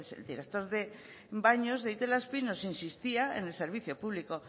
el director baños de itelazpi nos insistía en el servicio público